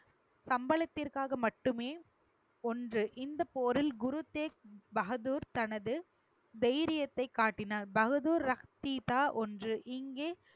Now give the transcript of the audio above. சம்பளதிற்காக மட்டுமே ஒன்று இந்தப் போரில் குரு தேக் பகதூர் தனது தைரியத்தை காட்டினார் பகதூர் ரக்திதா ஒன்று. இங்கே